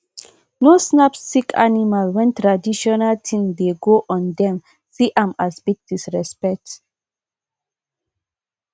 no snap sick animal when traditional thing dey go ondem see am as big disrespect